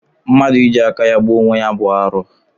Mmadụ iji aka gbuo onwe ya bụ arụ